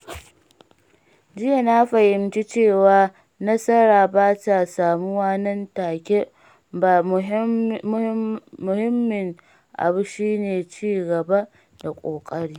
Jiya na fahimci cewa nasara bata samuwa nan take ba, muhimmin abu shi ne ci gaba da ƙoƙari.